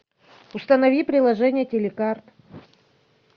установи приложение телекарт